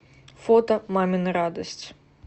фото мамина радость